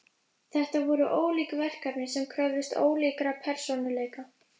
Þetta voru ólík verkefni sem kröfðust ólíkra persónuleika.